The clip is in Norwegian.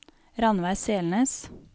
Rannveig Selnes